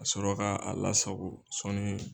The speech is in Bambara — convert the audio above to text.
a sɔrɔ ka a lasago sɔɔni.